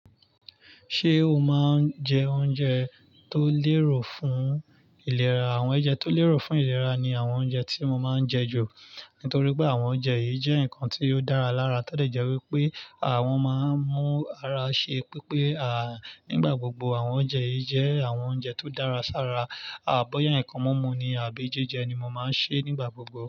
Ṣé o máa ń jẹ oúnjẹ tó lérò fún ìlera? Àwọn oúnjẹ tó lérò fún ìlera ni àwọn oúnjẹ tí mo máa ń jẹ ju. Nítorí pé àwọn oúnjẹ yìí jẹ́ nǹkan tí ó dára lára. To de jẹ́ wípé àwọn máa ń mú ara ṣe pípé. Àń, nígbà gbogbo àwọn oúnjẹ yìí jẹ́ àwọn oúnjẹ tó dára sára. Àbọ̀yẹ́ nǹkan mímú ni, àbí jẹ́jẹ́ ni mo máa ń ṣe nígbà gbogbo.